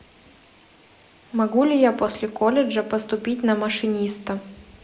могу ли я после колледжа поступить на машиниста